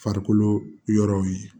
Farikolo yɔrɔw ye